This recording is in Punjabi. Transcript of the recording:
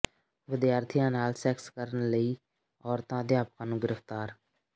ਵਿਦਿਆਰਥੀਆਂ ਨਾਲ ਸੈਕਸ ਕਰਨ ਲਈ ਔਰਤਾਂ ਅਧਿਆਪਕਾਂ ਨੂੰ ਗ੍ਰਿਫਤਾਰ